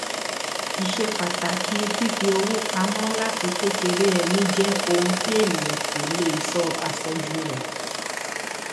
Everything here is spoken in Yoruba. ìṣepàtàkì fífi owó pamọ láti kékeré ẹni jẹ ohun tí ènìyàn kò lè sọ àsọjù rẹ